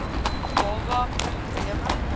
baba pro bleme